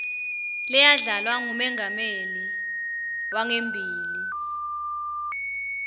leyadlalwa ngumengameli wangembili